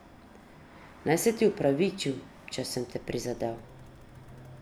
Naj se ti opravičim, če sem te prizadel.